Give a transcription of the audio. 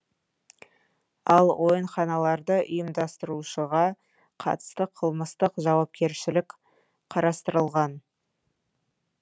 ал ойынханаларды ұйымдастырушыға қатысты қылмыстық жауапкершілік қарастырылған